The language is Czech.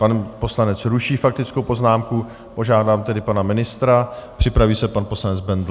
Pan poslanec ruší faktickou poznámku, požádám tedy pana ministra, připraví se pan poslanec Bendl.